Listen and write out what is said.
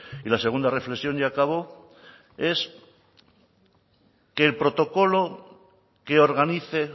y la segunda reflexión y acabo es que el protocolo que organice